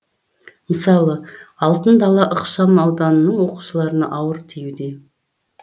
мысалы алтын дала ықшамауданының оқушыларына ауыр тиюде